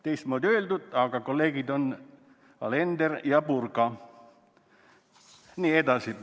" Teistmoodi öeldud, aga kaasküsijad on kolleegid on Alender ja Purga.